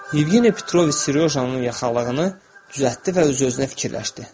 Yevgeni Petroviç Seryojanın yaxalığını düzəltdi və öz-özünə fikirləşdi.